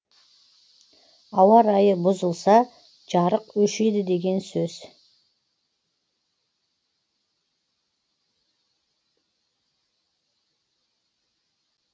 ауа райы бұзылса жарық өшеді деген сөз